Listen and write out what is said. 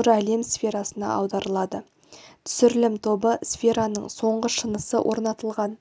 нұр әлем сферасына аударылады түсірілім тобы сфераның соңғы шынысы орнатылған